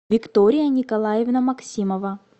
виктория николаевна максимова